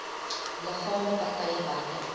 liggame partye buite